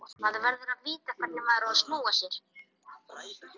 Það fyrsta sem alkohólistinn gerir, er að gá hvort hann eigi peninga fyrir lífinu.